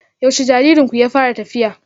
Yaushe jaririnku ya fara tafiya?